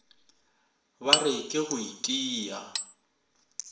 ba re ke go itia